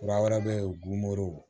Kura wɛrɛ bɛ yen gunbo